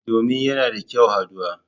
Domin yana da kyau haduwa.